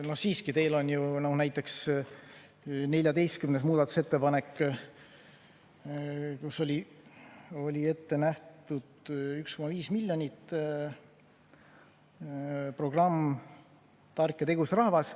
Aga siiski, teil on ju näiteks 14. muudatusettepanek, kus oli ette nähtud eraldada 1,5 miljonit "Tark ja tegus rahvas".